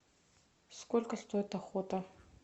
сколько стоит охота